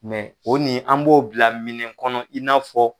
Mɛ o ni an b'o bila minɛ kɔnɔ i n'a fɔ